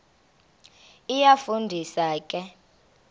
iyafu ndisa ke